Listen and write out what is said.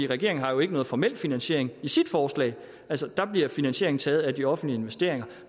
regeringen har jo ikke nogen formel finansiering i sit forslag der bliver finansieringen taget af de offentlige investeringer